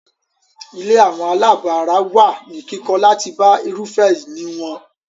Ilé àwọn àlábọ̀ ara wà ní kíkọ́ láti bá irúfẹ́ ìní wọn.